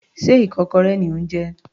Sé ikokorẹ ni ò ń jẹ?